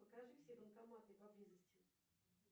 покажи все банкоматы поблизости